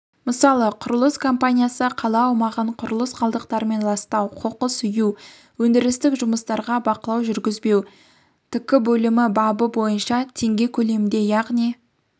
мысалы құрылыс компаниясы қала аумағын құрылыс қалдықтарымен ластау қоқыс үю өндірістік жұмыстарға бақылау жүргізбеу тк бөлімі бабы бойынша теңге көлемінде яғни